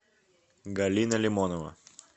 галина лимонова